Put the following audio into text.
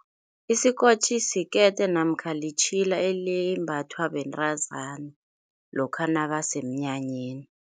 Isikotjhi sikete namkha litjhilo elembathwa bentazana lokha nabasemnyanyeni.